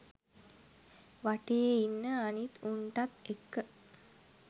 වටේ ඉන්න අනිත් උන්ටත් එක්ක.